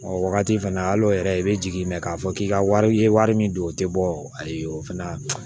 O wagati fɛnɛ al'o yɛrɛ i be jigin mɛ k'a fɔ k'i ka wari i ye wari min don o tɛ bɔ ayi o fana